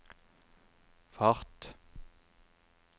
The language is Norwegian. fart